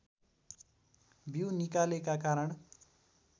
बिउ निकालेका कारण